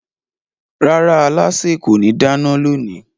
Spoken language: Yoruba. Rárá, alásè kò ní dáná lónìí